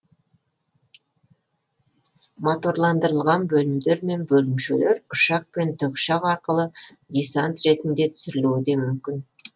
моторландырылған бөлімдер мен бөлімшелер ұшақ пен тікұшақ аркылы десант ретінде түсірілуі де мүмкін